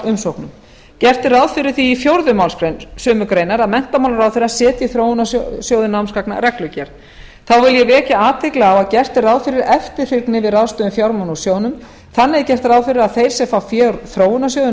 umsóknum gert er ráð fyrir því í fjórðu málsgrein sömu greinar að menntamálaráðherra setji þróunarsjóði námsgagna reglugerð þá vil ég vekja athygli á að gert er ráð fyrir eftirfylgni við ráðstöfun fjármuna úr sjóðnum þannig er gert ráð fyrir því að þeir sem fá fé úr þróunarsjóði